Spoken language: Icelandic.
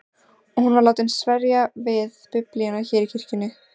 Og hún var látin sverja við Biblíuna hér í kirkjunni.